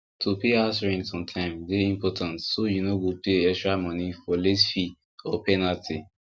to pay house rent on time dey important so you no go pay extra money for late fee or penalty